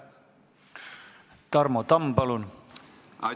Tarmo Tamm, palun!